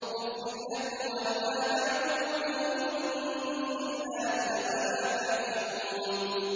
أُفٍّ لَّكُمْ وَلِمَا تَعْبُدُونَ مِن دُونِ اللَّهِ ۖ أَفَلَا تَعْقِلُونَ